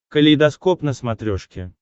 калейдоскоп на смотрешке